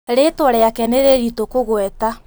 Rĩtwa rĩake nĩ rĩritũkũgweta